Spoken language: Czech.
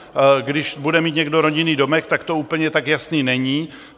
Když bude mít někdo rodinný domek, tak to úplně tak jasné není.